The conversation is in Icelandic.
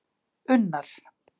Unnar